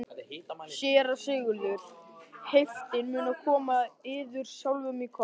SÉRA SIGURÐUR: Heiftin mun koma yður sjálfum í koll?